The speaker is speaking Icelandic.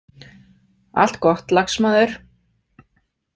Allt gott, lagsmaður.